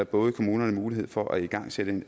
både kommunerne mulighed for at igangsætte